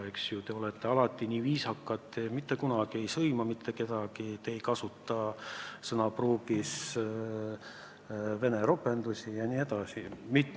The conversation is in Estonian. Te olete alati nii viisakad, te mitte kunagi ei sõima mitte kedagi, te ei kasuta sõnapruugis vene ropendusi jne.